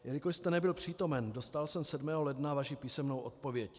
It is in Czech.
Jelikož jste nebyl přítomen, dostal jsem 7. ledna vaši písemnou odpověď.